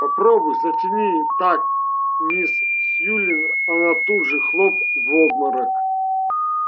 попробуй затяни так мисс сьюлин она тут же хлоп в обморок